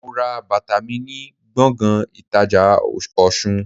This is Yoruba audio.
Mo ra bàtà mi ni gbòngàn ìtajà Òsun